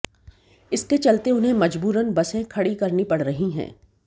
इसके चलते उन्हें मजबूरन बसें खड़ी करनी पड़ रही हैं